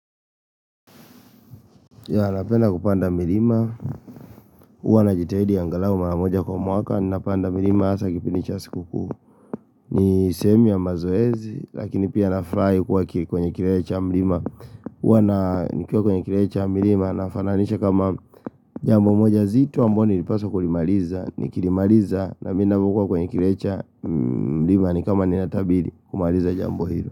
Ya napenda kupanda milima, uwa na jitahidi ya angalau maramoja kwa mwaka, napanda milima asa kipini chasi kuku, ni sehemu mazoezi, lakini pia na fry kuwa kiri kwenye kirecha milima, uwa na nikuwa kwenye kirecha milima, na fananisha kama jambo moja zitu amboni nipaso kulimaliza, nikilimaliza, na minamukua kwenye kirecha milima, nikama ninatabili kumaliza jambo hilo.